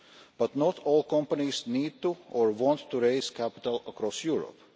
but not all companies need to or want to raise capital across Europe.